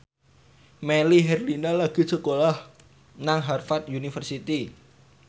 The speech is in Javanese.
Melly Herlina lagi sekolah nang Harvard university